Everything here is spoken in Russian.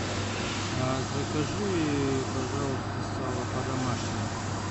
закажи пожалуйста сало по домашнему